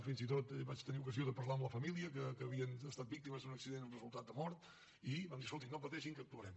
fins i tot vaig tenir ocasió de parlar amb la família que havien estat víctimes d’un accident amb resultat de mort i vam dir escolti no pateixin que actuarem